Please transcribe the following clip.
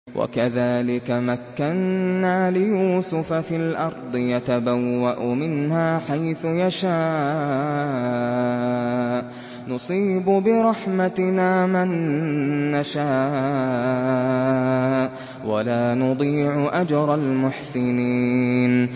وَكَذَٰلِكَ مَكَّنَّا لِيُوسُفَ فِي الْأَرْضِ يَتَبَوَّأُ مِنْهَا حَيْثُ يَشَاءُ ۚ نُصِيبُ بِرَحْمَتِنَا مَن نَّشَاءُ ۖ وَلَا نُضِيعُ أَجْرَ الْمُحْسِنِينَ